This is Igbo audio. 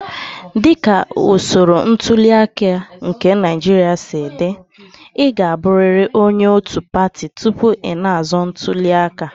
Dị ka usoro ntuli aka nke Naijiria si dị, ị ga-abụrịrị onye òtù pati tupu ị na-azọ ntuli aka.